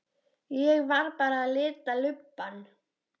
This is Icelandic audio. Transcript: Ég var bara að lita lubbann.